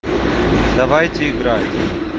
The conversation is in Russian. давайте играть